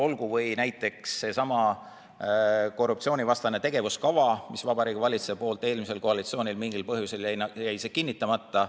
Olgu näiteks kas või seesama korruptsioonivastane tegevuskava, mis Vabariigi Valitsuse poolt eelmisel koalitsioonil mingil põhjusel jäi kinnitamata.